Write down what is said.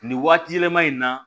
Nin waati yɛlɛma in na